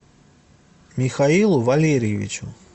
михаилу валерьевичу